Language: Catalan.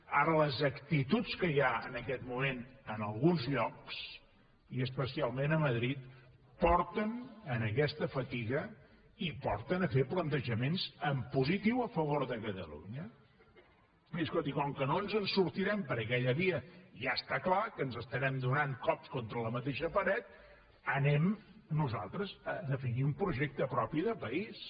ara les actituds que hi ha en aquest moment en alguns llocs i especialment a madrid porten a aquesta fatiga i porten a fer plantejaments en positiu a favor de catalunya miri escolti com que no ens en sortirem per aquella via i està clar que ens estarem donant cops contra la mateixa paret anem nosaltres a definir un projecte propi de país